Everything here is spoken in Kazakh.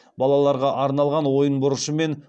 балаларға арналған ойын бұрышы мен